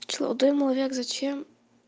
дымовик зачем